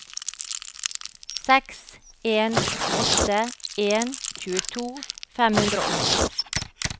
seks en åtte en tjueto fem hundre og åtti